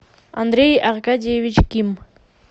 андрей аркадьевич ким